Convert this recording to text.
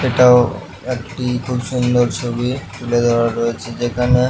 এইটাও একটি খুব সুন্দর ছবি তোলে ধরা হয়েছে যেখানে--